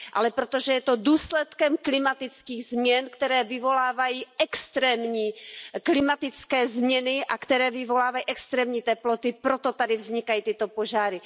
Ale protože je to důsledkem klimatických změn, které vyvolávají extrémní klimatické změny a které vyvolávají extrémní teploty, proto tady vznikají tyto požáry.